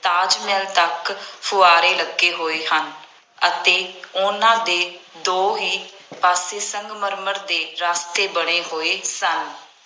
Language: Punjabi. ਤਾਜ ਮਹਿਲ ਤੱਕ ਫੁਆਂਰੇ ਲੱਗੇ ਹੋਏ ਹਨ ਅਤੇ ਉਹਨਾ ਦੇ ਦੋਹੇਂ ਪਾਸੇ ਸੰਗਮਰਮਰ ਦੇ ਰਸਤੇ ਬਣੇ ਹੋਏ ਸਨ।